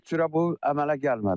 Heç cürə bu əmələ gəlmədi.